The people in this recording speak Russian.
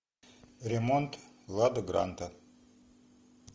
ремонт лада гранта